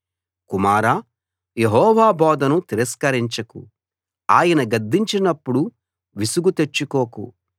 కుమారా యెహోవా బోధను తిరస్కరించకు ఆయన గద్దించినప్పుడు విసుగు తెచ్చుకోకు